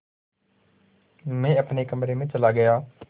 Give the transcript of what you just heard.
मैं अपने कमरे में चला गया